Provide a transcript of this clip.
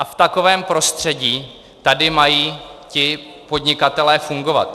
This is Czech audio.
A v takovém prostředí tady mají ti podnikatelé fungovat.